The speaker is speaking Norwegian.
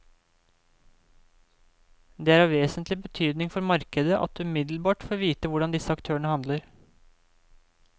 Det er av vesentlig betydning for markedet at det umiddelbart får vite hvordan disse aktørene handler.